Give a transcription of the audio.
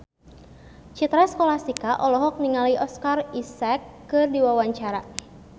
Citra Scholastika olohok ningali Oscar Isaac keur diwawancara